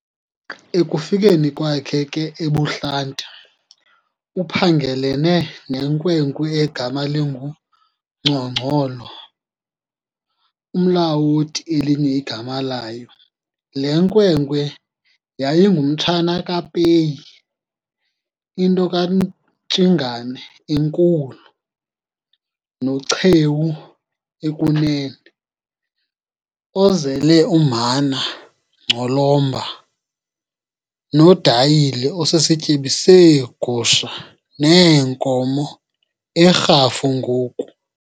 Ekufikeni kwakhe ke ebuhlanti uphangelelene nenkwenkwe egama linguNgcongolo, uMlawoti elinye igama layo. Le nkwenkwe yayingumtshana kaPeyi, into kaNtshingana enkulu, noChewu ekunene, ozele uMhana, Ngcolomba, noDayile osisityebi seegusha neenkomo eRhafu ngoku.